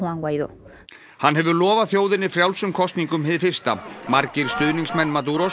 hann hefur lofað þjóðinni frjálsum kosningum hið fyrsta margir stuðningsmenn